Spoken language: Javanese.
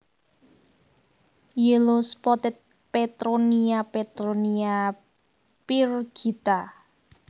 Yellow spotted Petronia Petronia pyrgita